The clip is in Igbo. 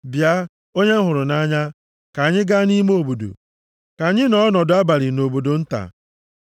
Bịa, onye m hụrụ nʼanya, ka anyị gaa nʼime obodo, ka anyị nọọ ọnọdụ abalị nʼobodo nta.